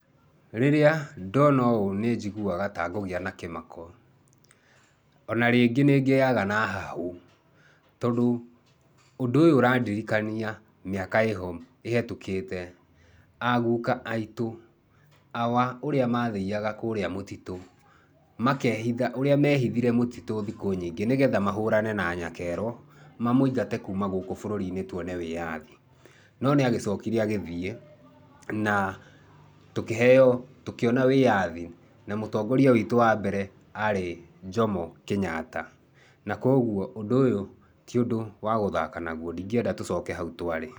Rĩrĩa ndona ũũ nĩ njiguaga ta ngũgĩa na kĩmako. O na rĩngĩ nĩ ngĩaga na hahũ tondũ ũndũ ũyũ ũrandirikania mĩaka ĩho ĩhĩtũkĩte, a guka aitũ awa ũrĩa mathiaga kũrĩa mũtitũ makeehitha, ũrĩa mehithire mũtitũ thikũ nyingĩ nĩgetha mahũrane na nyakero, mamũingate kuuma gũkũ bũrũri-inĩ twone wĩyathi. No nĩ agĩcokire agĩthiĩ na tũkĩheo, tũkĩona wĩyathi, na mũtongoria witũ wa mbere arĩ Jomo Kenyatta. Na kwoguo ũndũ ũyũ ti ũndũ wa gũthaka naguo, ndingĩenda tũcoke hau twarĩ.